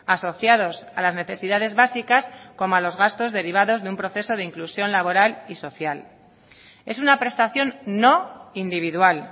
asociados a las necesidades básicas como a los gastos derivados de un proceso de inclusión laboral y social es una prestación no individual